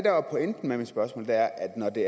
der er pointen med mit spørgsmål er at når det